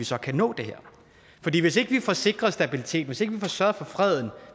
så kan nå det her hvis ikke vi får sikret stabilitet hvis ikke vi får sørget for freden